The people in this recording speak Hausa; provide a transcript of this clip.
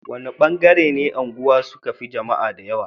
wani ban gare ne na unguwa suka Fi jamaa da yawa